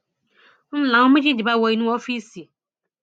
ń láwọn méjèèjì bá wo inú ọọfíìsì